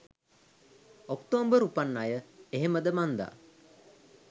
ඔක්තෝම්බර් උපන් අය එහෙමද මන්දා